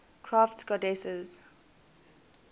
crafts goddesses